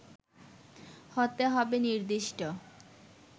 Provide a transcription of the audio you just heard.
হতে হবে নির্দিষ্ট